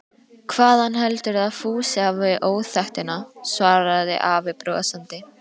Hvaðan heldurðu að Fúsi hafi óþekktina? svaraði afi brosandi.